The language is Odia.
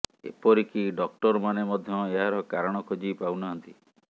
ଏପରିକି ଡ଼କ୍ଟର ମାନେ ମଧ୍ୟ ଏହାର କାରଣ ଖୋଜି ପାଉନାହଁନ୍ତି